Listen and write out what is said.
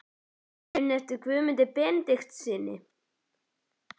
Muniði eftir Guðmundi Benediktssyni?